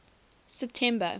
september